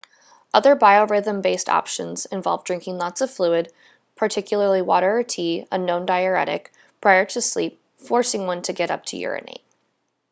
other biorhythm-based options involve drinking lots of fluid particularly water or tea a known diuretic prior to sleep forcing one to get up to urinate